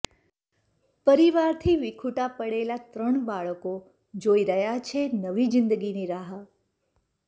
પરિવારથી વિખૂટા પડેલા ત્રણ બાળકો જોઈ રહ્યા છે નવી જીંદગીની રાહ